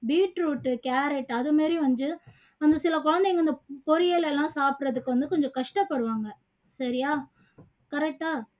beet root, carrot அது மாதிரி வந்து ஒரு சில குழந்தைங்க இந்த பொறியல் எல்லாம் சப்பிடுறதுக்கு வந்து கொஞ்சம் கஷ்டப்படுவாங்க சரியா correct ஆ